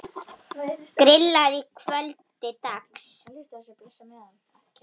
Grillað að kvöldi dags.